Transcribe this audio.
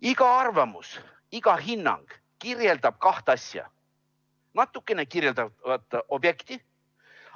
Iga arvamus, iga hinnang kirjeldab kahte asja: natukene kirjeldatavat objekti,